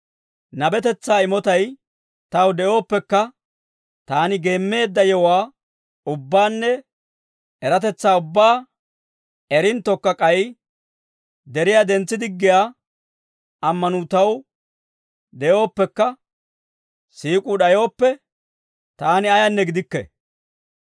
Nabetetsaa imotay taw de'ooppekka, taani geemmeedda yewuwaa ubbaanne eratetsaa ubbaa erinttokka, k'ay deriyaa dentsi diggiyaa ammanuu taw de'ooppekka, siik'uu d'ayooppe, taani ayaanne gidikke.